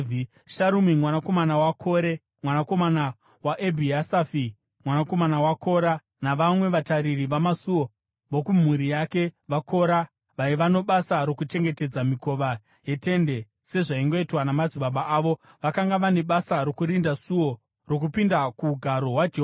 Sharumi mwanakomana waKore mwanakomana waEbhiasafi, mwanakomana waKora navamwe vatariri vamasuo vokumhuri yake, vaKora, vaiva nebasa rokuchengetedza mikova yeTende sezvaingoitwa namadzibaba avo vakanga vane basa rokurinda suo rokupinda kuugaro hwaJehovha.